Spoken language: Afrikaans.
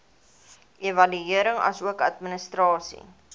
evaluering asook administrasie